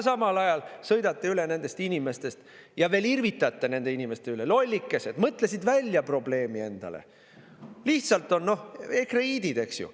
Samal ajal sõidate inimestest üle ja veel irvitate nende üle: lollikesed mõtlesid endale probleemi välja, lihtsalt on ekreiidid, eks ju.